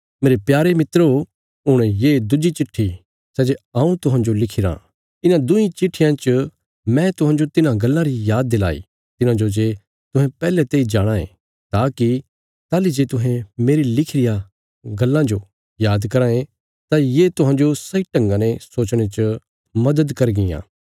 मेरे प्यारे मित्रो हुण ये दुज्जी चिट्ठी सै जे हऊँ तुहांजो लिखिराँ इन्हां दुईं चिट्ठियां च मैं तुहांजो तिन्हां गल्लां री याद दिलाई तिन्हांजो जे तुहें पैहले तेई जाणाँ ये ताकि ताहली जे तुहें मेरी लिखी रिया गल्लां जो याद कराँ ये तां ये तुहांजो सही ढंगा ने सोचणे च मदद करगियां